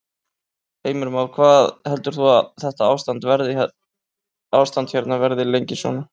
Heimir Már: Hvað heldur þú að þetta ástand hérna verði lengi svona?